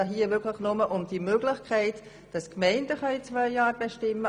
Es geht nur um die Möglichkeit, dass die Gemeinden zwei Jahre bestimmen.